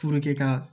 ka